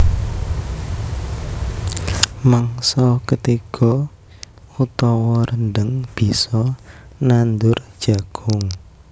Mangsa ketiga utawa rendheng bisa nandur jagung